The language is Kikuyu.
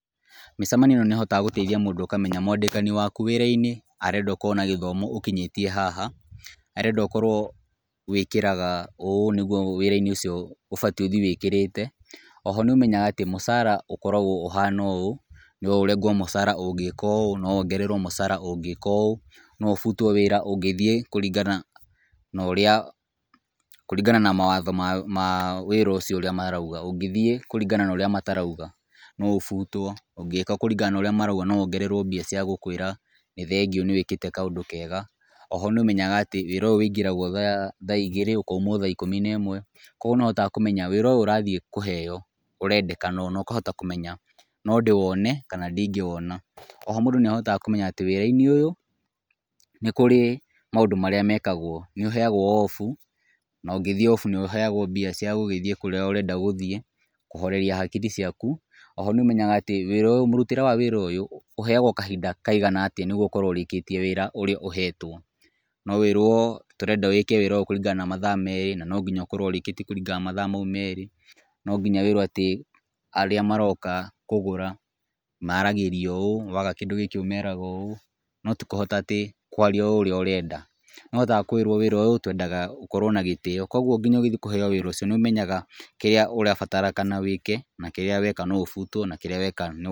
Mĩcemanio ĩno nĩ ĩhotaga gũteithia mũndũ ũkamenya mwandĩkani waku wĩra-inĩ arenda ũkorwo na gĩthomo ũkinyĩtie haha, arenda ũkorwo wĩkĩraga ũũ nĩguo wĩra-inĩ ũcio ũbatiĩ ũthiĩ wĩkĩrĩte. Oho nĩũmenyaga atĩ mũcara ũkoragwo ũhana ũũ, no ũrengwo mũcara ũngĩka ũũ, no wongererwo mũcara ũngĩka ũũ, no ũbutwo wĩra ũngĩthiĩ kũringana na mawatho ma wĩra ũcio ũrĩa marauga; ũngĩthiĩ kũringana na ũrĩa matarauga no ũbutwo, ũngĩka kũringana na ũrĩa marauga no wongererwo mbeca cia gũkwĩra ni thengio ni wĩkĩte kaũndũ kega. Oho nĩũmenyaga atĩ wĩra ũyũ ũingĩragwo thaa igĩrĩ ũkaumwo thaa ikũmi na ĩmwe. Kogwo nĩũhotaga kũmenya wĩra ũyũ ũrathiĩ kũheo ũrendekana ũũ, na ũkahota kũmenya no ndĩwone kana ndingĩwona. Oho mũndũ nĩahotaga kũmenya atĩ wĩra-inĩ ũyũ nĩkũrĩ maũndũ marĩa mekagwo; nĩuheagwo off, na ũngĩthiĩ off nĩũheagwo mbeca ca gũthiĩ kũrĩa ũrenda gũthiĩ kũhoreria hakiri ciaku. Oho nĩũmenyaga atĩ mũrutĩre wa wĩra ũyũ, ũheagwo kahinda kaigana atĩa, nĩgetha ũkorwo ũrĩkĩtie wĩra ũrĩa ũhetwo. No wĩrwo tũrenda wĩke wĩra ũyũ kũringana na mathaa merĩ na no nginya ũkorwo ũrĩkĩtie kũringana na mathaa mau merĩ. No nginya wĩrwo atĩ arĩa maroka kũgũra maragĩrio ũũ, waga kĩndũ gĩkĩ ũmeraga ũũ, no ti kũhota ati kũaria oo ũrĩa ũrenda. Nĩũhotaga kwĩrwo wĩra ũyũ twendaga gukorwo na gĩtĩo. Kogwo nginya ũgĩthiĩ kũheo wĩra ucio, nĩũmenyaga kĩrĩa ũrabatarĩka wĩke, na kĩrĩa weka no ũbutwo na kĩrĩa weka no...